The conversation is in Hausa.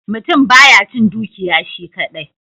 Mutum ba ya cin dukiya shi kadai.